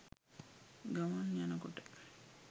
ගමන් යනකොට